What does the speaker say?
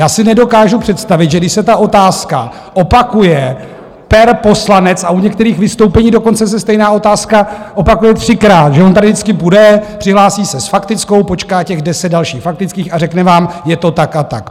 Já si nedokážu představit, že když se ta otázka opakuje per poslanec, a u některých vystoupení dokonce se stejná otázka opakuje třikrát, že on tady vždycky bude, přihlásí se s faktickou, počká těch deset dalších faktických a řekne vám, je to tak a tak.